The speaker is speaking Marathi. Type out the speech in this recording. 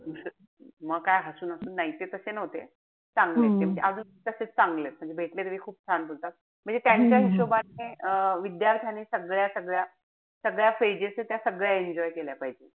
म काय हसून-हसून. नाई ते तशे नव्हते. चांगलेय ते. म्हणजे अजून तशेच चांगलेय. भेटले तरी खूप छान बोलतात. म्हणजे त्यांच्या हिशेबाने अं विद्यार्थ्याने सगळ्या-सगळ्या-सगळ्या phases ए त्या सगळ्या enjoy केल्या पाहिजे.